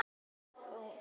Ég kem aldrei í ljós.